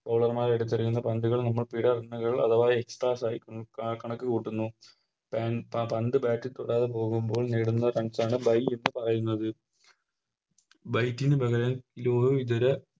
Bowler മാർ എടുത്തെറിയുന്ന പന്തുകൾ നമുക്കിടെ ഒന്നുകിൽ അഥവാ Extra size ആ കണക്ക് കൂട്ടുന്നു പേൻ പ പന്ത് Bat തൊടാതെ പോകുമ്പോൾ നേടുന്ന Runs ആണ് Byes എന്ന് പറയുന്നത് Bye ന് പകരം ലോ ഇതര